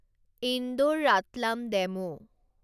Indore Ratlam DEMU